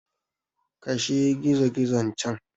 Kashe gizogizon can!